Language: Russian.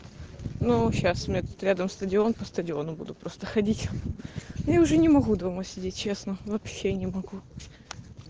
ну сейчас у меня тут рядом стадион по стадиону буду просто ходить я уже не могу дома сидеть честно вообще не могу